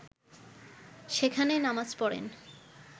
সেখানেই নামাজ পড়েন